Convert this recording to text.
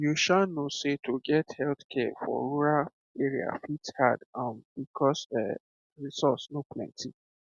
you um know sey to get healthcare for rural area fit hard um because um resource no plenty